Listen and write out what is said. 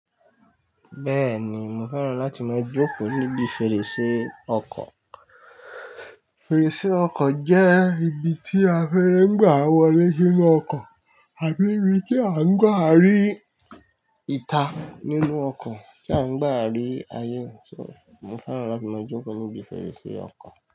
Bẹ́ẹ̀ni, mo fẹ́ràn láti máa jókòó níbi fèrèsé ọkọ̀. Fèrèsé ọkọ̀ jẹ́ ibi tí afẹ́rẹ́ ń gba wọlé sínú ọkọ̀ àbí ibi tí a ń gba rí ìta nínú ọkọ̀ tí a ń gba rí ayé so, mo fẹ́ràn láti máa jókòó níbi fèrèsé ọkọ̀